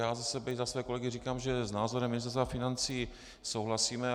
Já za sebe i za své kolegy říkám, že s názorem Ministerstva financí souhlasíme.